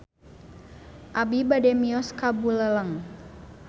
Abi bade mios ka Buleleng